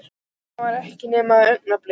En það var ekki nema augnablik.